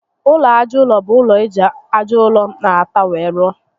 Ụlọ aja ụrọ bú ụlọ eji aja ụrọ na átá were rụọ